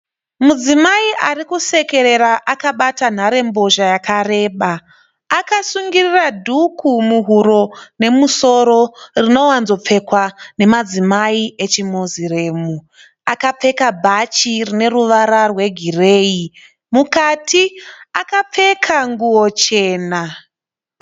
Mudzimai arikusekerera akabata nharembozha yakareba. Akasungirira dhuku muhuro nemumusoro rinowanzopfekwa nemadzimai echiMuslim. Akapfeka bhachi rineruvara rwegireyi. Mukati akapfeka nguwo chena.